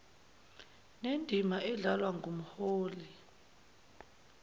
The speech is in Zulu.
nendima eyadlalwa ngumholi